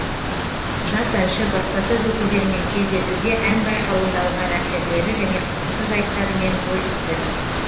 жас әнші баспасөз өкілдерімен кездесуде ән байқауында алған әсерлері және қызықты жайттарымен бөлісті